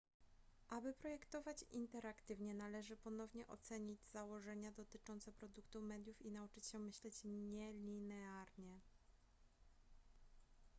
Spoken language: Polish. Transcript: aby projektować interaktywnie należy ponownie ocenić założenia dotyczące produkcji mediów i nauczyć się myśleć nielinearnie